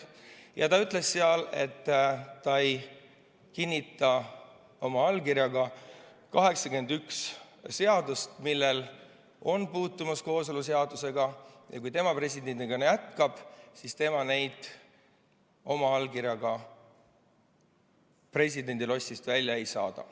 President ütles, et ta ei kinnita oma allkirjaga 81 seadust, millel on puutumus kooseluseadusega, ja kui tema presidendina jätkab, siis tema neid oma allkirjaga presidendilossist välja ei saada.